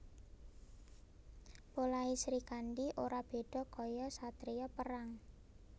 Polahe Srikandhi ora beda kaya satriya perang